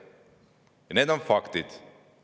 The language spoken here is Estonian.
Need on faktid.